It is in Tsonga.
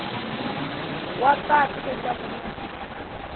wa patu leswaku ku na